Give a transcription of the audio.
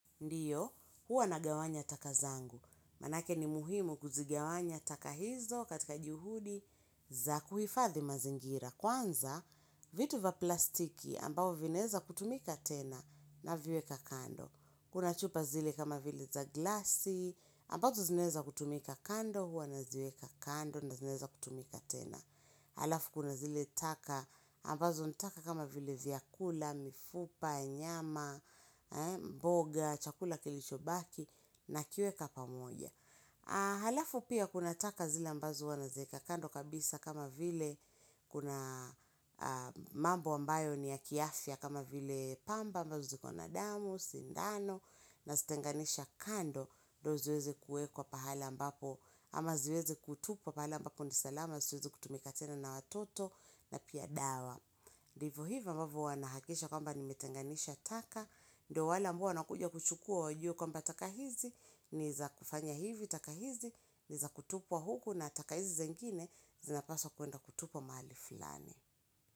Ndiyo, huwa nagawanya taka zangu. Manake ni muhimu kuzigawanya taka hizo katika juhudi za kuhifadhi mazingira. Kwanza, vitu vya plastiki ambayo vinaweza kutumika tena naviweka kando. Kuna chupa zile kama vile za glasi, ambazo zinaweza kutumika kando, huwa naziweka kando na zinaweza kutumika tena. Halafu kuna zile taka ambazo ni taka kama vile vyakula, mifupa, nyama, mboga, chakula kilichobaki nakiweka pamoja. Halafu pia kuna taka zile ambazo huwa naziweka kando kabisa kama vile kuna mambo ambayo ni ya kiafya kama vile pamba ambazo ziko na damu, sindano. Nazitenganisha kando ndo ziweze kuwekwa pahala ambapo ama ziweze kutupwa pahala ambapo ni salama zisiweze kutumika tena na watoto na pia dawa. Vivyo hivyo mbavyo huwa nahakikisha kwamba nimetenganisha taka, ndo wale ambao wanakuja kuchukua wajue kwamba taka hizi ni za kufanya hivi, taka hizi ni za kutupwa huku na taka hizi zingine zinapaswa kwenda kutupwa mali fulani.